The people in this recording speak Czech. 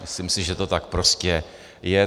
Myslím si, že to tak prostě je.